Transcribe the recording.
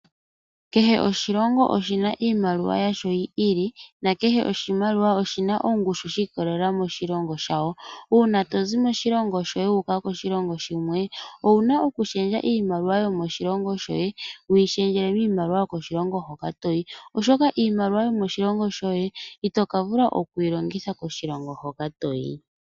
Kehe oshilongo oshina iimaliwa yasho yi ili nakehe oshimaliwa oshina ongushu shi kolelela moshilongo shawo, una tozi moshilongo shoye wuka koshilongo shimwe owuna oku pingakanitha iimaliwa yomoshilongo shoye wi pingakanithe mimaliwa yomoshilongo hoka toyi, oshoka iimaliwa yomoshilongo shoye ito kavula okwilongitha koshilongo hoka toyi.